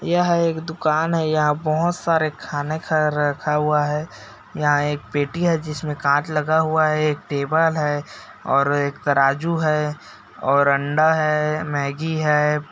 यह एक दुकान है यहाँ बहोत सारा खाने का रखा है यहाँ एक पेटी है जिसमे कांच लगा हुआ है एक टेबल है और एक तराज़ू है और अंडा है मैग्गी है।